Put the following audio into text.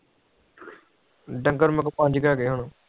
ਡੰਗਰ ਮੇਰੇ ਕੋ ਪੋਅੰਝ ਕੇ ਹੈਗੇ ਹੁਣ